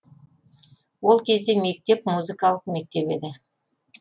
ол кезде мектеп музыкалық мектеп еді